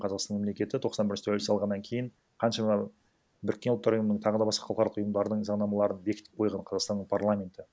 қазастан мемлекеті тоқсан бірінші тәуелсіз алғаннан кейін қаншама біріккен ұлттар ұйымының тағы басқа халықаралық ұйымдардың заңнамаларын бекітіп қойған қазақстанның парламенті